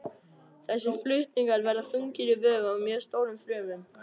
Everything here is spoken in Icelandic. Þessir flutningar verða þungir í vöfum í mjög stórum frumum.